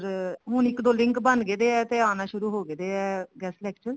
ਪਰ ਹੁਣ ਇੱਕ ਦੋ link ਬਣਗੇ ਤਾਂ ਹੈਗੇ ਆ ਤੇ ਆਉਣਾ ਸ਼ੁਰੂ ਹੋਗੇ ਆ guest lecture